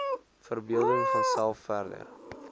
verbeelding vanself verder